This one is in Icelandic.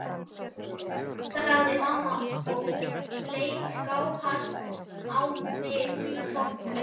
sagði mamma og leit skáhallt á mig undan toppnum.